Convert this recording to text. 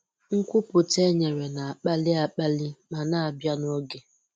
Nkwupụta e nyere na-akpali akpali ma na-abịa n'oge.